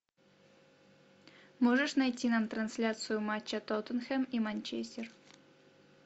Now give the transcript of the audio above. можешь найти нам трансляцию матча тоттенхэм и манчестер